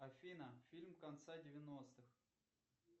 афина фильм конца девяностых